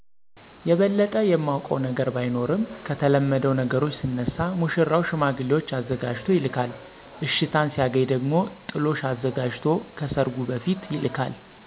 የበለጠ የማውቀው ነገር ባይኖርም ከተለመደው ነገሮች ስነሳ ሙሽራው ሽማግሌዎች አዘጋጅቶ ይልካል አሽታን ሲያገኝ ደሞ ጥሎሽ አዘጋጅቶ ከሰርጉ በፊት ይልካል።